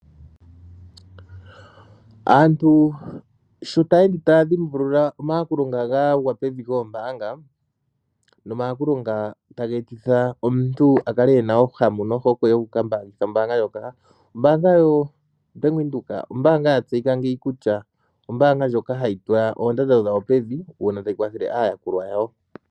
Aantu sho ta yeende taya dhimbulula omayakulo ga gwa pivi goombaanga nomayakulo nga taga etitha omuntu akale ena ohamu nohokwe yokukambaangitha ombaanga ndjoka, ombaanga yobank windhoek ombaanga ya tseyika ngeyi kutya ombaanga ndjoka hayi tula oondando dhayo pevi uuna tayi kwathele aayakulwa yawo.